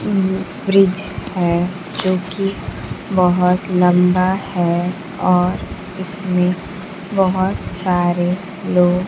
मम फ्रिज है जो कि बहोत लंबा है और इसमें बहोत सारे लोग --